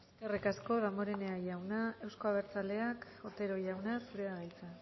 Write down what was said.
eskerrik asko damborenea jauna euzko abertzaleak otero jauna zurea da hitza